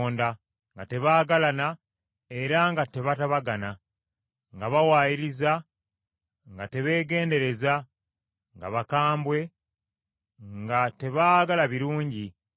nga tebaagalana era nga tebatabagana, nga bawaayiriza, nga tebeegendereza, nga bakambwe, nga tebaagala birungi,